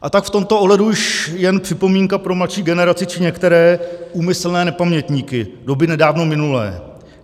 A tak v tomto ohledu již jen připomínka pro mladší generaci či některé úmyslné nepamětníky doby nedávno minulé.